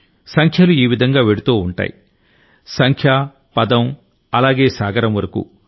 సంఖ్యలు ఈ విధంగా వెళ్తుంటాయి సంఖ్య పదం అలాగే సాగరం వరకూ